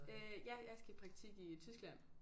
Øh ja jeg skal i praktik i Tyskland